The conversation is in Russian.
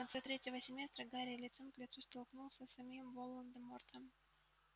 в конце третьего семестра гарри лицом к лицу столкнулся с самим волан-де-мортом